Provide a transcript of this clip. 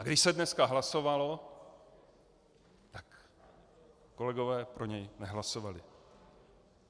A když se dneska hlasovalo, tak kolegové pro něj nehlasovali.